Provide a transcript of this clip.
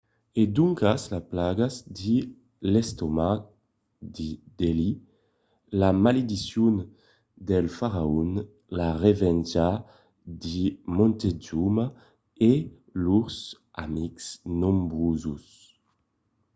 e doncas las plagas de l'estomac de delhi la malediccion del faraon la revenja de montezuma e lors amics nombroses